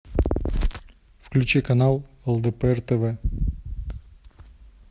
включи канал лдпр тв